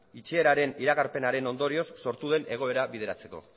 itxieraren iragarpenaren ondorioz sortu den egoera bideratzeko